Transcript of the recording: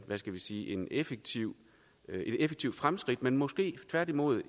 hvad skal vi sige effektivt fremskridt men måske tværtimod